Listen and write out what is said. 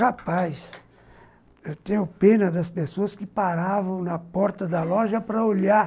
Rapaz, eu tenho pena das pessoas que paravam na porta da loja para olhar.